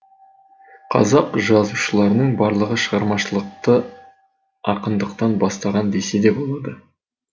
қазақ жазушыларының барлығы шығармашылықты ақындықтан бастаған десе де болады